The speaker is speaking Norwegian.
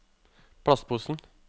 plastposen